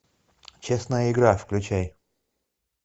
честная игра включай